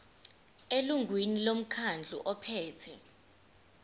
elungwini lomkhandlu ophethe